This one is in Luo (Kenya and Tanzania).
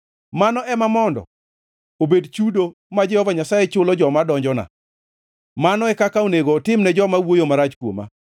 Mano ema mondo obed chudo, ma Jehova Nyasaye chulo joma donjona; mano e kaka onego otim ne joma wuoyo marach kuoma.